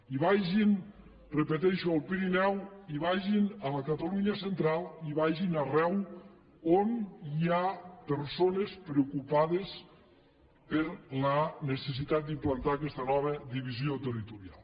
i vagin ho repeteixo al pirineu i vagin a la catalunya central i vagin arreu on hi ha persones preocupades per la necessitat d’implantar aquesta nova divisió territorial